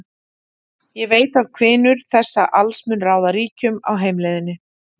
Ég veit að hvinur þessa alls mun ráða ríkjum á heimleiðinni.